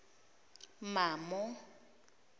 mamo